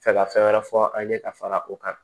Fɛ ka fɛn wɛrɛ fɔ an ye ka fara o kan